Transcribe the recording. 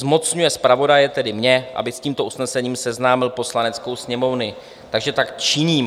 Zmocňuje zpravodaje, tedy mě, aby s tímto usnesením seznámil Poslaneckou sněmovnu, takže tak činím.